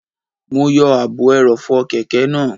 Mo yọ ààbò ẹrọ̀fọ̀ kẹ̀kẹ́ náà